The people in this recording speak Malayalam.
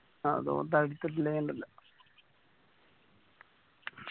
അത് ഓൻ തടുത്തില്ലേൽ ഇണ്ടല്ല